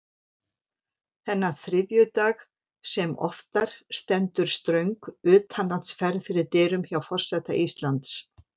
Þennan þriðjudag sem oftar stendur ströng utanlandsferð fyrir dyrum hjá forseta Íslands.